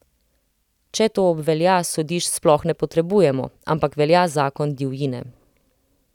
Če to obvelja, sodišč sploh ne potrebujemo, ampak velja zakon divjine.